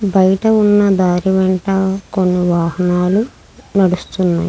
బయట ఉన్న దారి వెంట కొన్ని వాహనాలు నడుస్తున్నాయి.